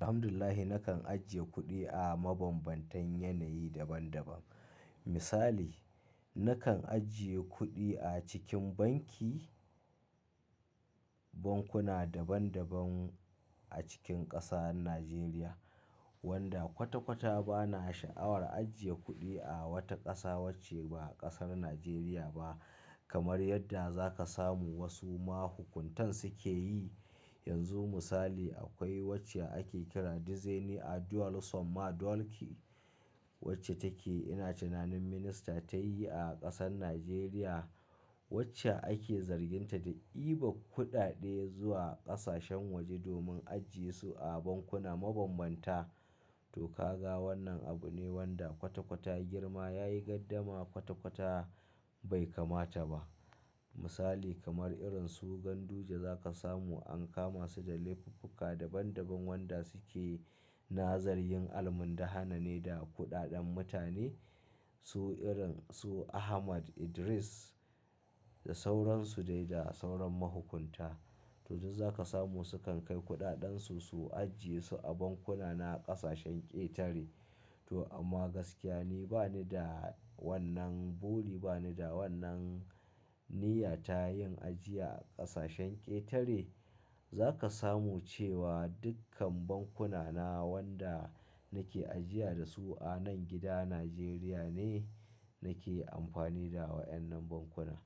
Alhamdulillah nakan ajiye kuɗi a mabambantan yanayi daban daban. Misali, nakan ajiye kuɗi a cikin banki, bankuna daban daban a cikin ƙasar Najeriya wanda kwata kwata bana sha'awar ajiye kuɗi a wata ƙasa wacce ba ƙasar Najeriya ba. Kamar yadda zaka samu wasu mahukuntan suke yi yanzu misali akwai wacce ake kira Dizaini Aduwal Sama Dulki wacce take ina tunanin minista ta yi a ƙasar Najeriya wacce ake zarginta da ɗiba kuɗaɗe zuwa ƙasashen waje domin ajiyesu a bankuna mabambanta. To ka ga wannan abu ne wanda kwata kwata girma ya yi gardama kwata kwata bai kamata ba. Misali kamar irin su Ganduje zaka samu an kama su da lefuka daban daban wanda suke nazarin almun dahane da kuɗaɗen mutane. Su irin su Ahmad Idris da sauran su dai da sauran mahukunta. To duk zaka samu su kan kai kuɗaɗan su su ajiyesu a bankuna na ƙasashen ƙetare. To amma gaskiya ni bani da wannan buri, bani da wannan niyya ta yin ajiya a ƙasashen ƙetare. Zaka samu cewa dukkan bankuna na wanda nake ajiya da su a nan gida Najeriya ne nake amfani da wa'yannan bankuna.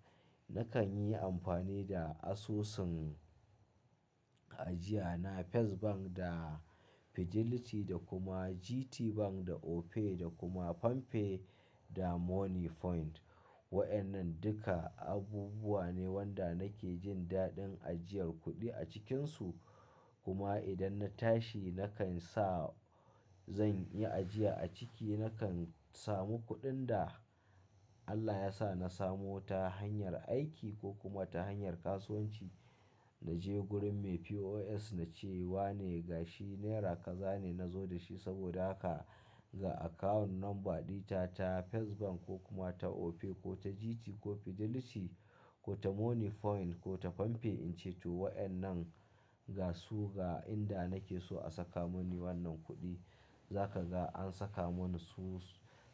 Nakan yi amfani da asusun ajiya na First Bank da Fidelity da kuma GT Bank da Opay da kuma Pam pay da Moniepoint. Wa'yannan duka abubuwa ne wanda nake jin daɗin ajiyar kuɗi a cikinsu. Kuma idan na tashi nakan sa zan yi ajiya a ciki nakan samu kuɗin da Allah yasa na samu ta hanyar aiki ko kuma ta hanyar kasuwanci. Na je gurin me POS na ce wa ne ga shi naira kaza ne na zo dashi saboda aka ga account number ɗita ta First Bank ko kuma ta Opay ko ta GT ko Fidelity ko ta Moniepoint ko ta Pam pay. In ce to wa'yannan ga su ga inda nake so a saka muni wannan kuɗi. Zaka ga an saka mun su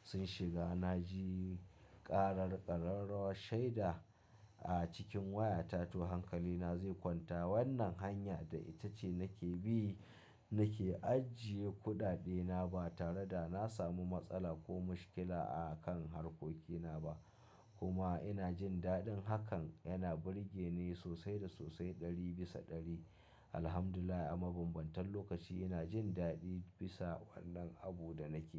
sun shiga. Na ji ƙarar ƙararrawar shaida a cikin wayata to hankali na zai kwanta. Wannan hanya da ita ce nake bi nake ajiye kuɗaɗe na ba tare da na samu matsala ko mushkila a kan harkokina ba. Kuma ina jin daɗin hakan. Yana burge ni sosai da sosai ɗari bisa ɗari. Alhamdulillah a mabambantan lokaci ina jin daɗi bisa wannan abun da nake yi.